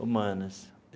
Humanas.